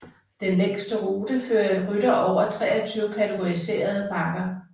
Den længste rute fører rytter over 23 kategoriserede bakker